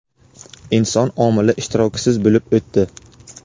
inson omili ishtirokisiz bo‘lib o‘tdi.